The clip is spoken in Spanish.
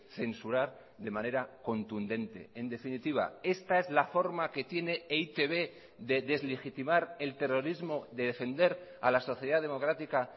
censurar de manera contundente en definitiva esta es la forma que tiene e i te be de deslegitimar el terrorismo de defender a la sociedad democrática